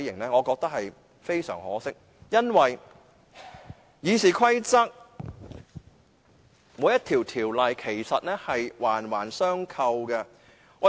我覺得非常可惜，因為《議事規則》內各項規則其實是環環相扣的。